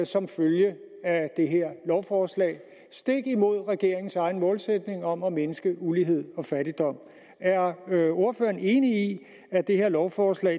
som følge af det her lovforslag stik imod regeringens egen målsætning om at mindske ulighed og fattigdom er ordføreren enig i at det her lovforslag